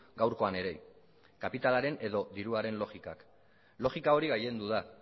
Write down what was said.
gaurkoan ere kapitalaren edo diruaren logikak logika hori gailendu da